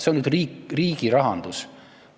See on nüüd riigirahandus!